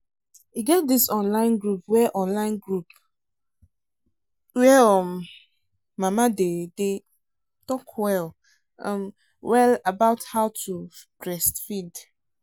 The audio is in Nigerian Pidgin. e get this online group where online group where um mama dem day talk well um well about how to breastfeed